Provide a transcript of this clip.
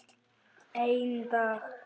Einn dag!